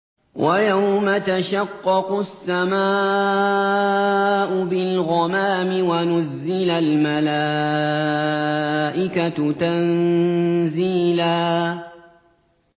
وَيَوْمَ تَشَقَّقُ السَّمَاءُ بِالْغَمَامِ وَنُزِّلَ الْمَلَائِكَةُ تَنزِيلًا